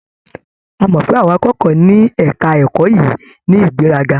A mọ̀ pé àwọn akẹ́kọ̀ọ́ ní ẹ̀ka ẹ̀kọ́ yìí ní ìgbéraga.